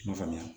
I n'a faamuya